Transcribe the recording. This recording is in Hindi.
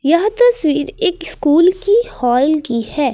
यह तस्वीर एक स्कूल की हाल की है।